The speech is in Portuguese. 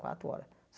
Quatro hora.